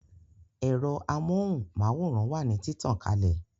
Ero amóhùn máwòrán wà ní títàn kalẹ̀